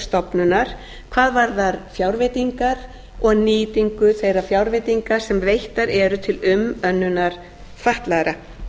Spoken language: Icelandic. hvað varðar fjárveitingar og nýtingu þeirra fjárveitinga sem veittar eru til umönnunar fatlaðra